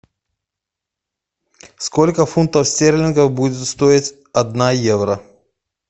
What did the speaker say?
сколько фунтов стерлингов будет стоить одна евро